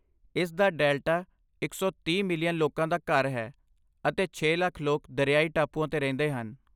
ਇਸ ਦਾ ਡੈਲਟਾ ਇਕ ਸੌ ਤੀਹ ਮਿਲੀਅਨ ਲੋਕਾਂ ਦਾ ਘਰ ਹੈ ਅਤੇ ਛੇ ਲੱਖ ਲੋਕ ਦਰਿਆਈ ਟਾਪੂਆਂ 'ਤੇ ਰਹਿੰਦੇ ਹਨ